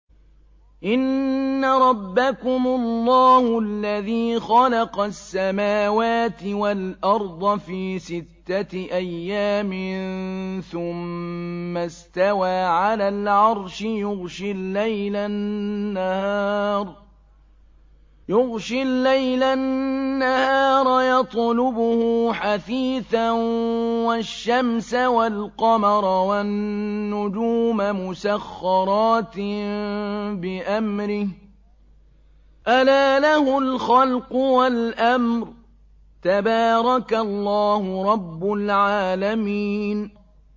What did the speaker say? إِنَّ رَبَّكُمُ اللَّهُ الَّذِي خَلَقَ السَّمَاوَاتِ وَالْأَرْضَ فِي سِتَّةِ أَيَّامٍ ثُمَّ اسْتَوَىٰ عَلَى الْعَرْشِ يُغْشِي اللَّيْلَ النَّهَارَ يَطْلُبُهُ حَثِيثًا وَالشَّمْسَ وَالْقَمَرَ وَالنُّجُومَ مُسَخَّرَاتٍ بِأَمْرِهِ ۗ أَلَا لَهُ الْخَلْقُ وَالْأَمْرُ ۗ تَبَارَكَ اللَّهُ رَبُّ الْعَالَمِينَ